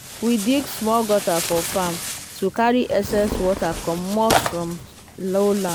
um we dig small gutter for farm to carry excess rainwater commot from lowland.